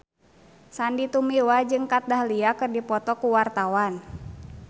Sandy Tumiwa jeung Kat Dahlia keur dipoto ku wartawan